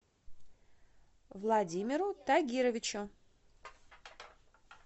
владимиру тагировичу